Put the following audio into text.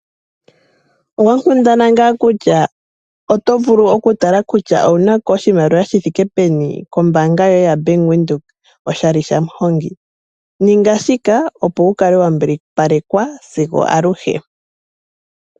Owa kundana ngaa kutya oto vulu okutala kutya owu na ko oshimaliwa shi thike peni kombaanga yoye yaBank Windhoek oshali shaMuhongi? Ninga shika opo wu kale wa mbilipalelwa sigo aluhe.